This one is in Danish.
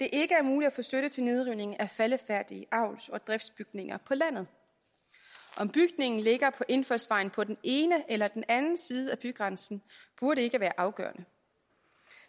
få støtte til nedrivning af faldefærdige avls og driftsbygninger på landet om bygningen ligger på indfaldsvejen på den ene eller den anden side af bygrænsen burde ikke være afgørende